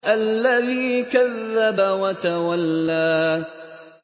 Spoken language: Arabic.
الَّذِي كَذَّبَ وَتَوَلَّىٰ